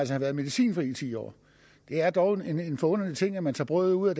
have været medicinfri ti år det er dog en forunderlig ting at man tager brødet ud af